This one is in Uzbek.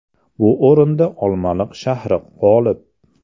Bu o‘rinda Olmaliq shahri g‘olib.